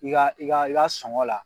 I ka i ka i ka sɔngɔ la